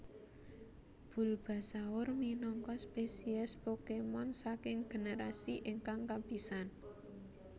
Bulbasaur minangka spesies Pokémon saking generasi ingkang kapisan